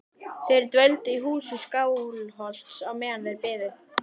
Þeir dvöldu í húsi Skálholts á meðan þeir biðu.